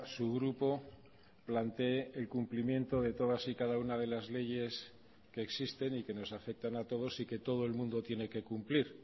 su grupo plantee el cumplimiento de todas y cada una de las leyes que existen y que nos afectan a todos y que todo el mundo tiene que cumplir